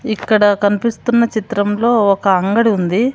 ఇక్కడ కన్పిస్తున్న చిత్రంలో ఒక అంగడి ఉంది.